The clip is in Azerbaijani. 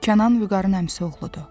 Kənan Vüqarın əmisi oğludur.